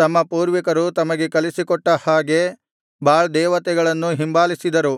ತಮ್ಮ ಪೂರ್ವಿಕರು ತಮಗೆ ಕಲಿಸಿಕೊಟ್ಟ ಹಾಗೆ ಬಾಳ್ ದೇವತೆಗಳನ್ನು ಹಿಂಬಾಲಿಸಿದರು